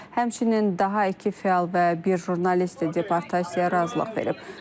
Həmçinin daha iki fəal və bir jurnalist deportasiyaya razılıq verib.